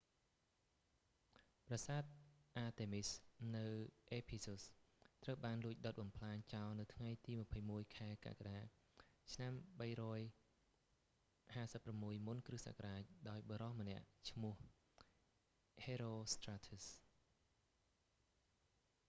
ប្រាសាទអាតេមីស​ artemis នៅអេភីស៊ុស ephesus ត្រូវបានលួច​ដុត​​បំផ្លាញចោល​នៅថ្ងៃទី 21 ខែកក្កដា ឆ្នាំ 356 មុនគ.ស.​ ​​ដោយបុរស​ម្នាក់​ឈ្មោះ​ ហេរ៉ូស្ត្រាធើស ​herostratus។